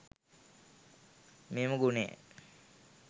මෙම ගුණය